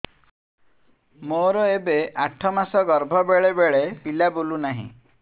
ମୋର ଏବେ ଆଠ ମାସ ଗର୍ଭ ବେଳେ ବେଳେ ପିଲା ବୁଲୁ ନାହିଁ